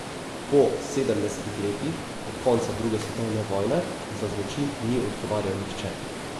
Po sedemdesetih letih od konca druge svetovne vojne za zločin ni odgovarjal nihče.